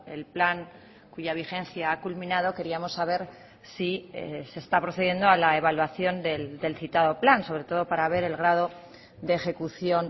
el plan cuya vigencia ha culminado queríamos saber si se está procediendo a la evaluación del citado plan sobre todo para ver el grado de ejecución